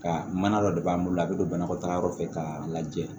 Ka mana dɔ de b'an bolo a bɛ don banakɔtagayɔrɔ fɛ k'a lajɛ